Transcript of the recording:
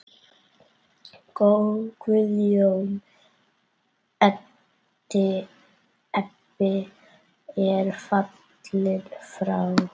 Guðjón Ebbi er fallinn frá.